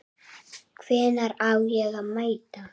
Hvenær á ég að mæta?